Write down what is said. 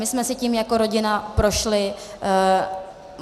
My jsme si tím jako rodina prošli.